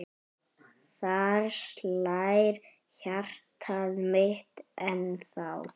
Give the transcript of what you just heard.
Þar slær hjartað mitt ennþá.